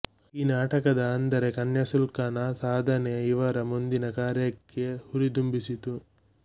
ಈ ನಾಟಕದ ಅಂದರೆ ಕನ್ಯಾಸುಲ್ಕಂನ ಸಾಧನೆ ಇವರ ಮುಂದಿನ ಕಾರ್ಯಕೆ ಹುರಿದುಂಬಿಸಿತು